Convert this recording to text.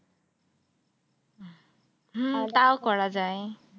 করা যায়।